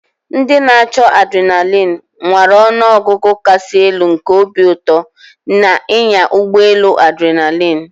Ndị na-achọ adrenaline nwara ọnụ ọgụgụ kasị elu nke obi ụtọ na ịnya ụgbọ elu adrinalin.